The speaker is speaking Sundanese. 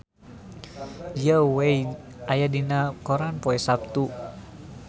Zhao Wei aya dina koran poe Saptu